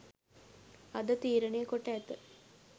අද තීරණය කොට ඇත.